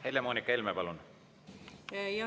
Helle-Moonika Helme, palun!